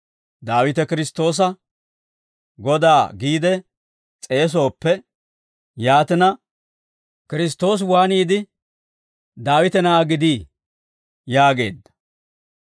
Daawite Kiristtoosa, ‹Godaa› giide s'eesooppe, yaatina, Kiristtoosi waaniide Daawita na'aa gidii?» yaageedda.